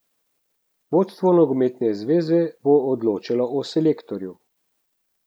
Vodstvo nogometne zveze bo odločalo o selektorju.